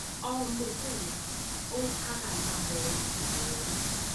O mũthenya ũkaga na moritũ merũ.